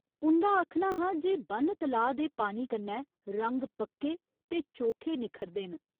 उं'दा आखना हा जे ब'न्न तलाऽ दे पानी कन्नै रंग पक्के ते चोखे निक्खरदे न।